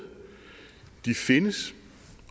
de findes